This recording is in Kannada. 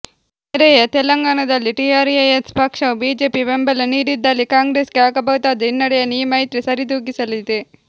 ನೆರೆಯ ತೆಲಂಗಾಣದಲ್ಲಿ ಟಿಆರ್ಎಸ್ ಪಕ್ಷವು ಬಿಜೆಪಿ ಬೆಂಬಲ ನೀಡಿದಲ್ಲಿ ಕಾಂಗ್ರೆಸ್ಗೆ ಆಗಬಹುದಾದ ಹಿನ್ನಡೆಯನ್ನು ಈ ಮೈತ್ರಿ ಸರಿದೂಗಿಸಲಿದೆ